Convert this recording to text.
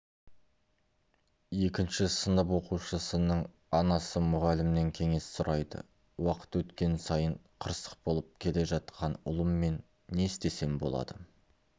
екінші сынып оқушысының анасы мұғалімнен кеңес сұрайды уақыт өткен сайын қырсық болып келе жатқан ұлыммен не істесем болады